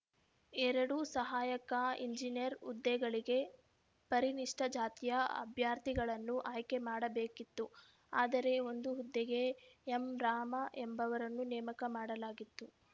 ಎರಡು ಸಹಾಯಕ ಎಂಜಿನಿಯರ್ ಹುದ್ದೆಗಳಿಗೆ ಪರಿಣಿಷ್ಟ ಜಾತಿಯ ಅಭ್ಯರ್ಥಿಗಳನ್ನು ಆಯ್ಕೆ ಮಾಡಬೇಕಿತ್ತು ಆದರೆ ಒಂದು ಹುದ್ದೆಗೆ ಎಂ ರಾಮ ಎಂಬುವರನ್ನು ನೇಮಕ ಮಾಡಲಾಗಿತ್ತು